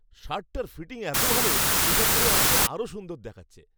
শার্টটার fitting এত ভালো! এটা পরে আমাকে আরও সুন্দর দেখাচ্ছে।